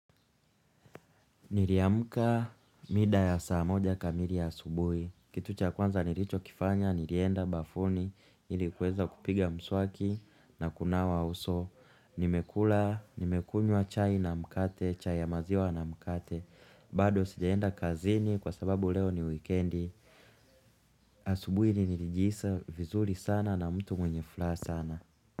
Niliamka mida ya saa moja kamili ya asubuhi. Kitu cha kwanza nilichokifanya nilienda bafuni ilikuweza kupiga mswaki na kunawa uso. Nimekula, nimekunywa chai na mkate, chai ya maziwa na mkate. Bado sijaenda kazini kwa sababu leo ni wikiendi. Asubuhi ni nilijihisi vizuri sana na mtu mwenye furaha sana.